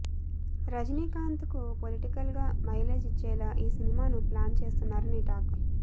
రజినీకాంత్ కు పొలిటికల్ గా మైలేజ్ ఇచ్చేలా ఈ సినిమాను ప్లాన్ చేస్తున్నారని టాక్